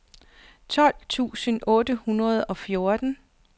tolv tusind otte hundrede og fjorten